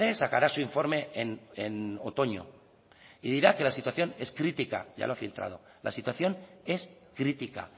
sacará su informe en otoño y dirá que la situación es crítica ya lo ha filtrado la situación es crítica